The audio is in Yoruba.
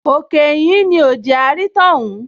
Òkè ìhín ni ò jẹ́ á rí tọ́hún